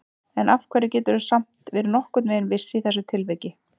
En af hverju geturðu samt verið nokkurn veginn viss í þessu tilviki?